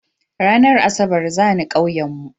Ranar asabar zani ƙauyen mu